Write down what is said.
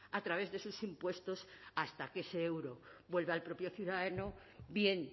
a través de sus impuestos hasta que ese euro vuelve al propio ciudadano bien